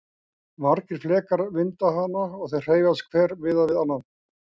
Margir flekar mynda hana og þeir hreyfast hver miðað við annan.